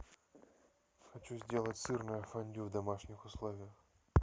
хочу сделать сырное фондю в домашних условиях